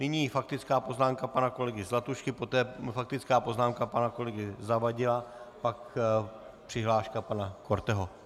Nyní faktická poznámka pana kolegy Zlatušky, poté faktická poznámka pana kolegy Zavadila, pak přihláška pana Korteho.